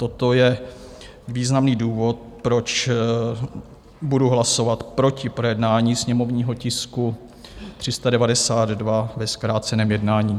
Toto je významný důvod, proč budu hlasovat proti projednání sněmovního tisku 392 ve zkráceném jednání.